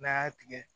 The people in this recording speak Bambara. N'a y'a tigɛ